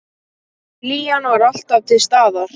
Hlýjan var alltaf til staðar.